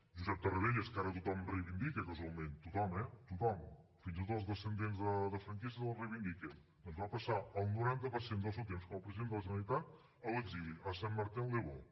josep tarradellas que ara tothom reivindica casualment tothom eh tothom fins i tot els descendents de franquistes el reivindiquen doncs va passar el noranta per cent del seu temps com a president de la generalitat a l’exili a saint martin le beau